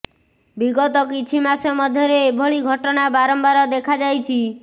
ବିଗତ କିଛି ମାସ ମଧ୍ୟରେ ଏଭଳି ଘଟଣା ବାରମ୍ବାର ଦେଖାଯାଇଛି